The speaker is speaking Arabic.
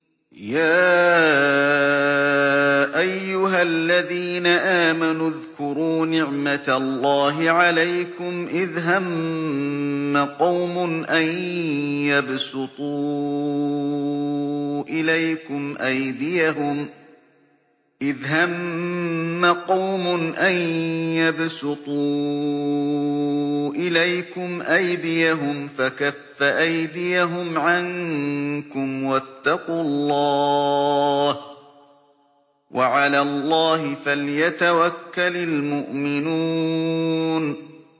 يَا أَيُّهَا الَّذِينَ آمَنُوا اذْكُرُوا نِعْمَتَ اللَّهِ عَلَيْكُمْ إِذْ هَمَّ قَوْمٌ أَن يَبْسُطُوا إِلَيْكُمْ أَيْدِيَهُمْ فَكَفَّ أَيْدِيَهُمْ عَنكُمْ ۖ وَاتَّقُوا اللَّهَ ۚ وَعَلَى اللَّهِ فَلْيَتَوَكَّلِ الْمُؤْمِنُونَ